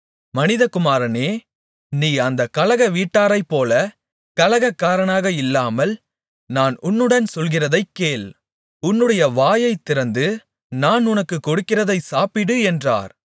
மனிதகுமாரனே நீ அந்தக் கலகவீட்டாரைப்போலக் கலகக்காரனாக இல்லாமல் நான் உன்னுடன் சொல்லுகிறதைக் கேள் உன்னுடைய வாயைத் திறந்து நான் உனக்குக் கொடுக்கிறதை சாப்பிடு என்றார்